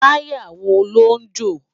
Tàyá wó ló jó?